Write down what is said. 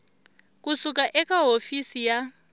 ku suka eka hofisi ya